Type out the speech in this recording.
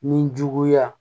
Ni juguya